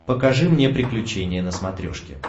покажи мне приключения на смотрешке